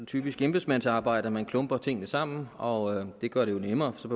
typisk embedsmandsarbejde at man klumper tingene sammen og det gør det jo nemmere for så